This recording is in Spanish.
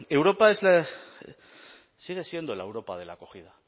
europa sigue siendo la europa de la acogida